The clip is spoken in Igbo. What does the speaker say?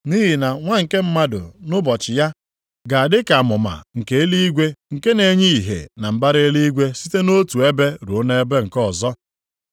Nʼihi na Nwa nke Mmadụ nʼụbọchị ya ga-adị ka amụma nke eluigwe nke na-enye ìhè na mbara eluigwe site nʼotu ebe ruo nʼebe nke ọzọ.